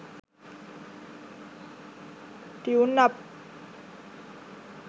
tuneup